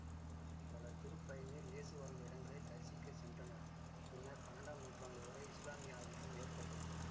பல திருப்பயணியர் இயேசு வாழ்ந்த இடங்களை தரிசிக்க சென்றனர் பின்னர் பன்னெண்டாம் நூற்றாண்டுவரை இசுலாமிய ஆதிக்கம் ஏற்பட்டது